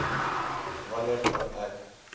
wanneer kan ek